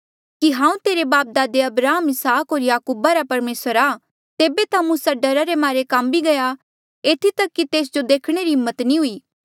कि हांऊँ तेरे बापदादे अब्राहम इसहाक होर याकूबा रा परमेसर आ तेबे ता मूसा डरा रे मारे काम्मी गया एथी तक कि तेस जो देखणे री हिम्मत नी हुई